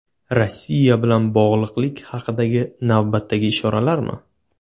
Rossiya bilan bog‘liqlik haqidagi navbatdagi ishoralarmi?